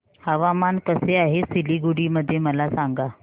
हवामान कसे आहे सिलीगुडी मध्ये मला सांगा